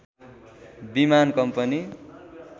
विमान कम्पनी